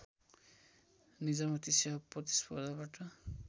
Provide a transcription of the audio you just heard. निजामती सेवा प्रतिस्पर्धाबाट